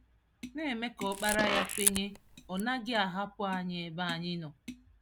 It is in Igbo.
Na-eme ka Ọkpara Ya kwenye Ọ naghị ahapụ anyị ebe anyị nọ.